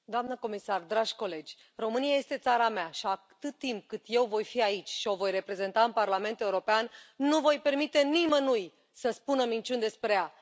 Doamnă președintă, doamnă comisar, dragi colegi, România este țara mea și, atât timp cât și eu voi fi aici și o voi reprezenta în Parlamentul European, nu voi permite nimănui să spună minciuni despre ea.